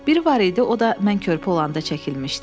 Biri var idi, o da mən körpə olanda çəkilmişdi.